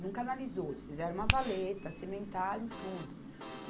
Não canalizou, eles fizeram uma valeta, cimentaram tudo.